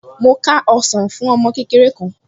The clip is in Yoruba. Mo ká ọsàn fún ọmọ kékeré kan